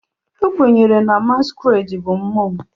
Ekwenyere na Masquerades bụ mmụọ.